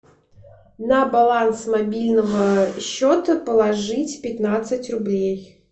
на баланс мобильного счета положить пятнадцать рублей